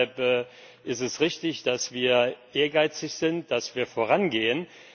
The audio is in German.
Deshalb es ist richtig, dass wir ehrgeizig sind, dass wir vorangehen.